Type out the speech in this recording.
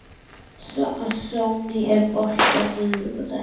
Sonný, er bolti á miðvikudaginn?